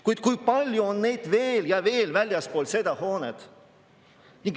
Kuid kui palju on neid veel ja veel väljaspool seda hoonet!